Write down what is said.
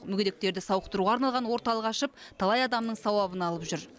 мүгедектерді сауықтыруға арналған орталық ашып талай адамның сауабын алып жүр